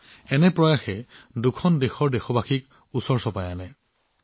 একেধৰণৰ প্ৰচেষ্টাই দুখন দেশৰ লোকক সমীপলৈ লৈ আনিছে